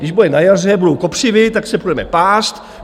Když bude na jaře, budou kopřivy, tak se půjdeme pást.